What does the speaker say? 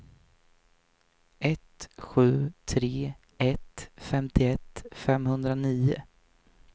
ett sju tre ett femtioett femhundranio